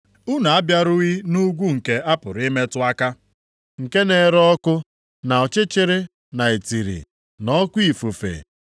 Unu abịarughị nʼugwu nke a pụrụ ịmetụ aka, nke na-ere ọkụ, na ọchịchịrị na itiri na oke ifufe,